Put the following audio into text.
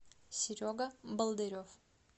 серега болдырев